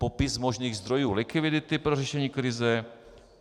Popis možných zdrojů likvidity pro řešení krize.